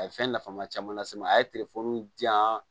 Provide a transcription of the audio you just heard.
A ye fɛn nafama caman lase n ma a ye telefɔni diyan